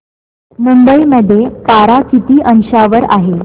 मुंबई मध्ये पारा किती अंशावर आहे